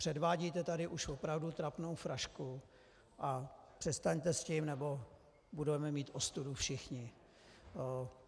Předvádíte tady už opravdu trapnou frašku a přestaňte s tím nebo budeme mít ostudu všichni.